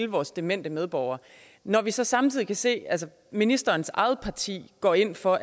vores demente medborgere når vi så samtidig kan se at ministerens eget parti går ind for